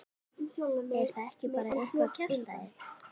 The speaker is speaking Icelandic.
Er það ekki bara eitthvað kjaftæði?